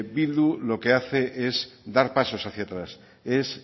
bildu lo que hace es dar pasos hacia atrás es